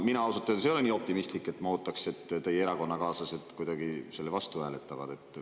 Mina ausalt öeldes ei ole nii optimistlik, et ma ootan, et teie erakonnakaaslased kuidagi selle vastu hääletavad.